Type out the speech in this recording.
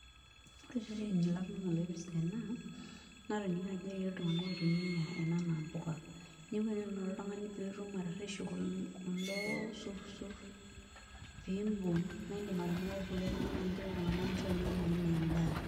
Ore ireteni latoningoloipirta ena natoningo ajo eti ltunganak oitumia ena anaa mpuka, neaku ore eninko oltungani pitumoki atareshu kulo sursur pimbung na indim atimiraki kulie tunganak nincho nai ninche ana endaa.